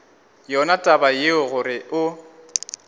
yona taba yeo gore o